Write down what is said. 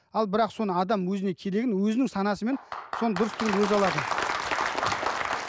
ал бірақ соны адам өзіне керегін өзінің санасымен соны дұрыс түсініп өзі алады